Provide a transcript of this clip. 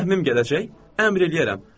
Sizə rəhmim gələcək, əmr eləyərəm.